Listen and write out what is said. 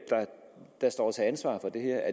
der står til ansvar for det her